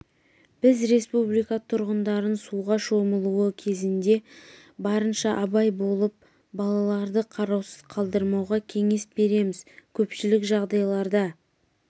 біз республика тұрғындарын суға шомылуы кезінде барынша абай болып балаларды қараусыз қалдырмауға кеңес береміз көпшілік жағдайларда